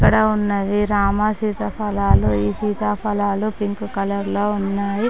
ఇక్కడ ఉన్నది రామ సీతాఫలాలు ఈ సీతాఫలాలు పింక్ కలర్ లో ఉన్న--